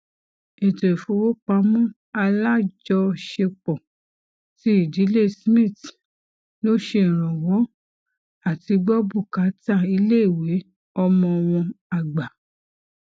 ètò ìfowópamọ àlájọṣepọ ti ìdílé smith ló ṣe ìrànwọ àtigbọ bùkátà iléìwé ọmọ wọn àgbà